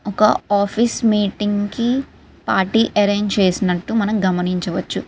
ఒక office meeting కి party arrange చేసినట్టు మనం గమనించవచ్చు .